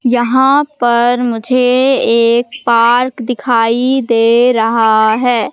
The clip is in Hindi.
यहां पर मुझे एक पार्क दिखाई दे रहा है।